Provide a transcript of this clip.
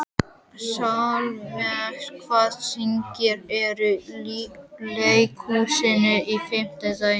Salome, hvaða sýningar eru í leikhúsinu á fimmtudaginn?